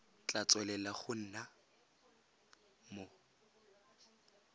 tla tswelela go nna mo